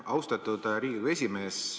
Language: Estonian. Austatud Riigikogu esimees!